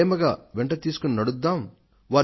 ప్రేమగా వెంట తీసుకొని నడుద్దాం అని